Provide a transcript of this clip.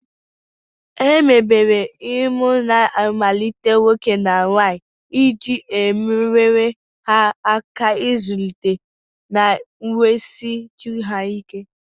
Emebere emume mmalite nwoke na nwanyị iji nyere ha aka ịzụlite na wusie chi ha ike.